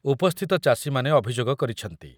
ଉପସ୍ଥିତ ଚାଷୀମାନେ ଅଭିଯୋଗ କରିଛନ୍ତି ।